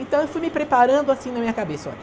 Então eu fui me preparando assim na minha cabeça, olha...